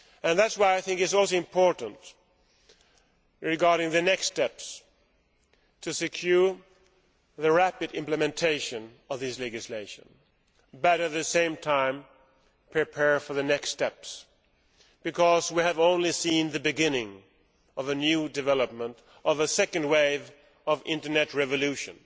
That is why I think it is also important, regarding the next steps, to secure the rapid implementation of this legislation, but at the same time to prepare for the next steps, because we have only seen the beginning of a new development, of a second wave of Internet revolution.